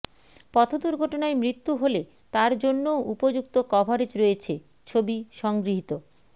পথ দুর্ঘটনায় মৃত্যু হলে তার জন্যও উপযুক্ত কভারেজ রয়েছে ছবি সংগৃহীত